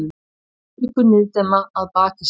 Afríku niðdimma að baki sér.